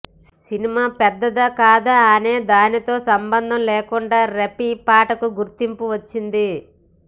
cinema పెద్దదా కాదా అనే దానితో సంబంధం లేకుండా రఫీ పాటకు గుర్తింపు వచ్చింది